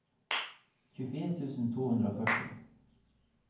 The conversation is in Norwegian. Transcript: tjuefire tusen to hundre og førti